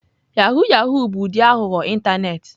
Yahoo yahoo bụ ụdị aghụghọ ịntanetị.